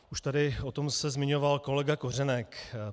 Už tady o tom se zmiňoval kolega Kořenek.